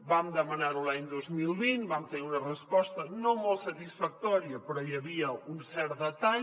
vam demanar ho l’any dos mil vint vam tenir una resposta no molt satisfactòria però hi havia un cert detall